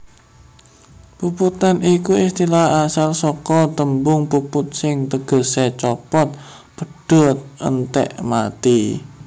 Puputan iku istilah asal saka tembung puput sing tegesé copot/pedhot/entèk/mati